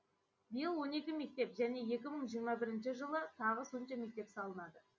биыл он екі мектеп және екі мың жиырма бірінші жылы тағы сонша мектеп салынады